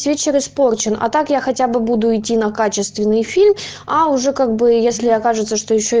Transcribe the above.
вечер испорчен а так я хотя бы буду идти на качественный фильм а уже как бы если окажется